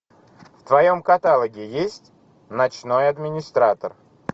в твоем каталоге есть ночной администратор